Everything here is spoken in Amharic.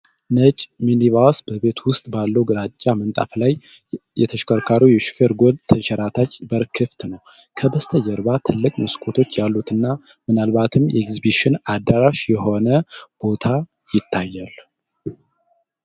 ነጭ ሚኒቫስ በቤት ውስጥ ባለው ግራጫ ምንጣፍ ላይ ። የተሽከርካሪው የሾፌር ጎን ተንሸራታች በር ክፍት ነው። ከበስተጀርባ ትላልቅ መስኮቶች ያሉት እና ምናልባትም የኤግዚቢሽን አዳራሽ የሆነ ቦታ ይታያል።